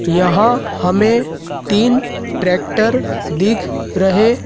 यहां हमें तीन टैक्टर दिख रहे--